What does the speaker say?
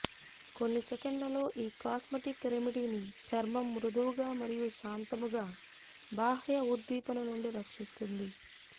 కొన్ని సెకన్లలో ఈ కాస్మెటిక్ రెమెడీని చర్మం మృదువుగా మరియు శాంతముగా బాహ్య ఉద్దీపన నుండి రక్షిస్తుంది